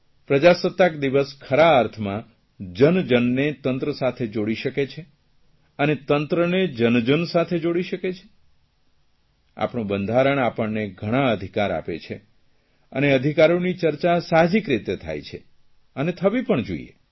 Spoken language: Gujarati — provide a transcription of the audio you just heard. પ્રજાસત્તાક દિવસ ખરા અર્થમાં જન જનને તંત્ર સાથે જોડી શકે છે આપણું બંધારણ આપણને ઘણા અધિકાર આપે છે અને અધિકારીનો ચર્ચા સાહજિક રીતે થાય છે અને થવી પણ જોઇએ